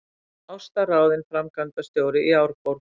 Ásta ráðin framkvæmdastjóri í Árborg